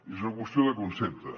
és una qüestió de concepte